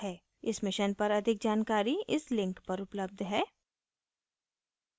इस mission पर अधिक जानकारी इस link पर उपलब्ध है